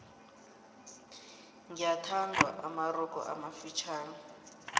gyathandwa amarogo amafitjhani